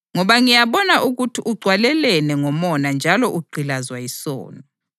Ngoba ngiyabona ukuthi ugcwalelene ngomona njalo ugqilazwe yisono.”